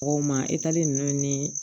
Mɔgɔw ma ninnu ni